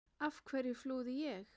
Af hverju flúði ég?